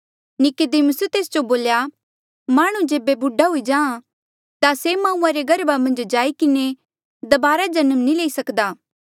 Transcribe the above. नीकुदेमुसे तेस जो बोल्या माह्णुं जेबे बुड्ढा हुई जाहाँ ता से माऊआ रे गर्भा मन्झ जाई किन्हें दबारा जन्म नी ले सकदा